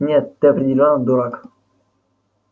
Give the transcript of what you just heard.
нет ты определённо дурак